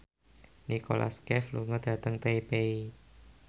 Nicholas Cafe lunga dhateng Taipei